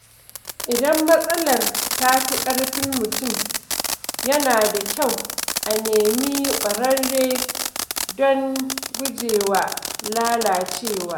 Idan matsalar ta fi ƙarfin mutum, yana da kyau a nemi ƙwararre don gujewa lalacewa.